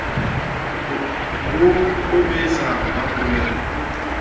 ho o besa ba polela